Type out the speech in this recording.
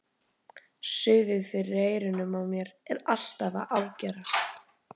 Suðið fyrir eyrunum á mér er alltaf að ágerast.